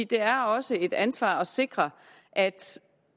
det er også et ansvar at sikre at